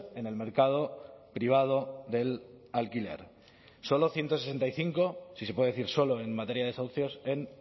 en el mercado privado del alquiler solo ciento sesenta y cinco si se puede decir solo en materia de desahucios en